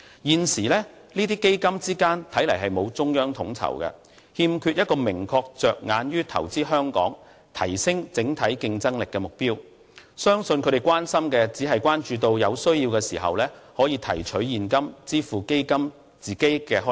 現時這些基金之間沒有中央統籌，亦欠缺一個明確着眼於投資香港、提升整體競爭力的目標，相信他們關心的只是在有需要的時候能夠提取現金支付基金的開支。